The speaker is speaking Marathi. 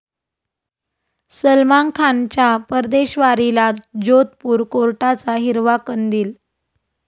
सलमान खानच्या परदेशवारीला जोधपूर कोर्टाचा हिरवा कंदील